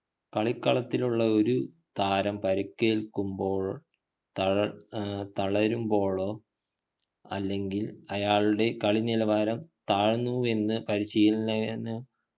കളിക്കളത്തിലുള്ള ഒരു താരം പരുക്കേൽക്കുമ്പോഴോ തള ഏർ തളരുമ്പോഴോ അല്ലെങ്കിൽ അയാളുടെ കളിനിലവാരം താഴ്ന്നുവെന്ന് പരിശീലകനു